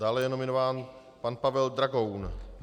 Dále je nominován pan Pavel Dragoun.